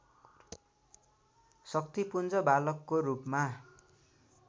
शक्तिपुञ्ज बालकको रूपमा